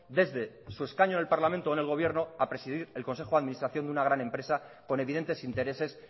desde su escaño en el parlamento o en el gobierno a presidir el consejo de administración de una gran empresa con evidentes intereses